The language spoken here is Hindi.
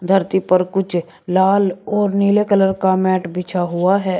धरती पर कुछ लाल और नीले कलर का मैट बिछा हुआ है।